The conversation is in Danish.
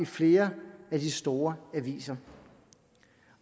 flere af de store aviser